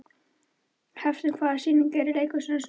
Hafsteina, hvaða sýningar eru í leikhúsinu á sunnudaginn?